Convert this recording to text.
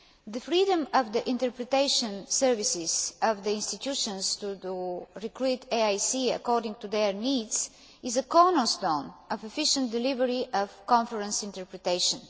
The freedom of the interpretation services of the institutions to recruit AICs according to their needs is a cornerstone of efficient delivery of conference interpretation.